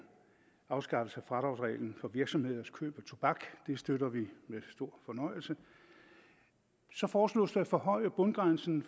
afskaffelse af fradragsreglen for virksomheders køb af tobak det støtter vi med stor fornøjelse så foreslås det at forhøje bundgrænsen